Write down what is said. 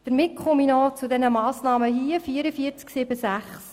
Ich komme noch zur Massnahme 44.7.6: